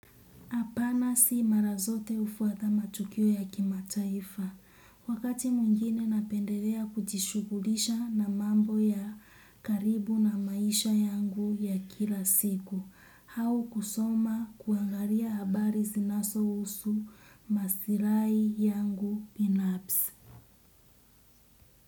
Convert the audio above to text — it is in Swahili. Apana si mara zote hufuata matukio ya kimataifa. Wakati mwingine napendelea kujishughulisha na mambo ya karibu na maisha yangu ya kila siku. Au kusoma kuangalia habari zinasohusu masirai yangu binafsi.